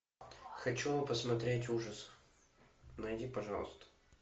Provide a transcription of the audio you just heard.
хочу посмотреть ужасы найди пожалуйста